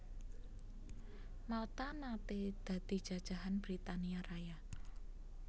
Malta naté dadi jajahan Britania Raya